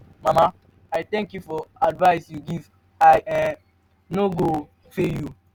mama i thank you for the advice you give me i um no go fail you.